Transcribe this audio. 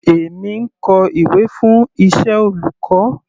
Èmi ń kọ ìwé fún iṣẹ́ olùkọ́.